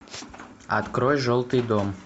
открой желтый дом